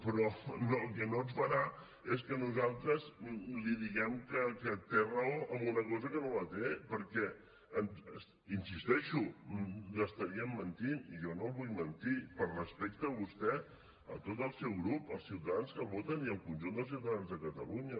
però el que no farà és que nosaltres li diguem que té raó en una cosa que no la té perquè hi insisteixo l’estaríem mentint i jo no el vull mentir per respecte a vostè a tot el seu grup als ciutadans que el voten i al conjunt dels ciutadans de catalunya